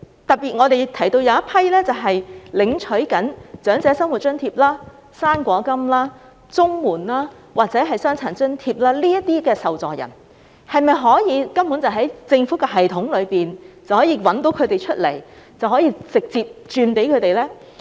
特別是那些正在領取長者生活津貼、"生果金"、綜合社會保障援助或傷殘津貼的受助人，當局是否可以透過政府的系統找出他們，然後直接轉錢給他們呢？